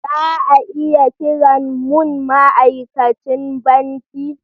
Za a iya kiran mun ma'aikacin banki?